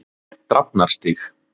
Drafnarstíg